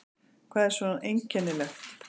Hvað er svona einkennilegt?